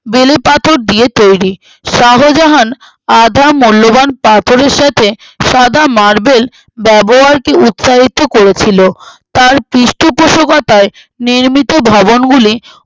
বেলে পাথর দিয়ে তৈরী শাহজাহান আধা মূল্যবান পাথরের সাথে সাদা marble ব্যবহারকে উৎসাহিত করেছিল তার পৃষ্ঠপোষকথায়ে নির্মিত ভবনগুলি